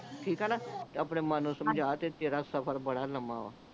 ਠੀਕ ਆ ਨਾ ਤੇ ਆਪਣੇ ਮਨ ਨੂੰ ਸਮਝਾ ਤੇ ਤੇਰਾ ਸਫ਼ਰ ਬੜਾ ਲੱਮਾ ਵਾ